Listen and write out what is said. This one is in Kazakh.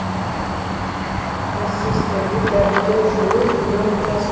процесстерді дәріптеу жылу динамикасы